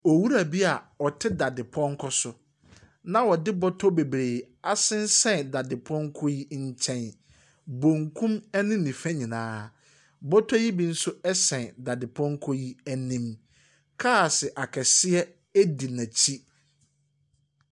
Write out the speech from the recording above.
Owura bi a ɔte dadepɔnkɔ so na ɔde bɔtɔ bebree asensɛn dadepɔnkɔ yi nkyɛn, bonkum ɛne nifa nyinaa. Bɔtɔ yi bi nso sɛn dadepɔnkɔ yi anim. Cars akɛseɛ edi n'akyi.